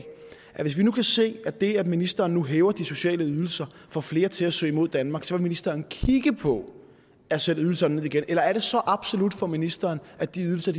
at hvis vi kan se at det at ministeren nu hæver de sociale ydelser får flere til at søge mod danmark så vil ministeren kigge på at sætte ydelserne ned igen eller er det så absolut for ministeren at de ydelser